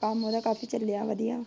ਕੰਮ ਉਹੰਦਾ ਕਾਫੀ ਚੱਲਿਆ ਵਧੀਆ।